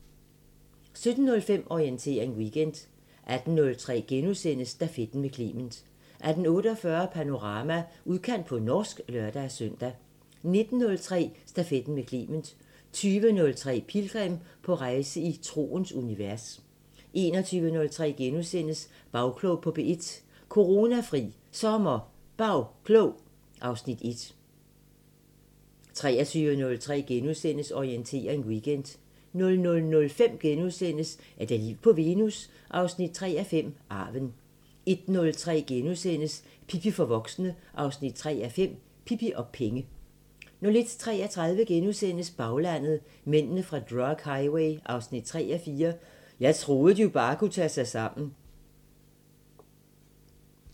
17:05: Orientering Weekend 18:03: Stafetten med Clement * 18:48: Panorama: Udkant på norsk (lør-søn) 19:03: Stafetten med Clement 20:03: Pilgrim – på rejse i troens univers 21:03: Bagklog på P1: Coronafri SommerBagklog (Afs. 1)* 23:03: Orientering Weekend * 00:05: Er der liv på Venus? 3:5 – Arven * 01:03: Pippi for voksne 3:5 – Pippi og penge * 01:33: Baglandet: Mændene fra drug highway 3:4 – "Jeg troede de bare kunne tage sig sammen"